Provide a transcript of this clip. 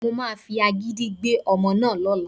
Mo máa fi agídí gbé ọmọ náà lọ́la